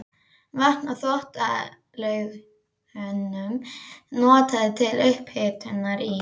Vatn úr Þvottalaugunum notað til upphitunar í